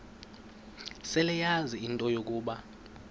seleyazi into yokuba